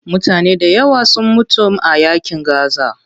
Mutane dayawa sun mutum a yaƙin gaza.